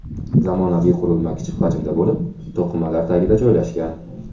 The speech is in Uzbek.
Zamonaviy qurilma kichik hajmda bo‘lib, to‘qimalar tagida joylashgan.